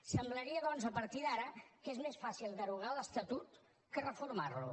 semblaria doncs a partir d’ara que és més fàcil derogar l’estatut que reformar lo